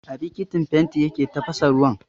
A bikitin fenti yake tafasa ruwa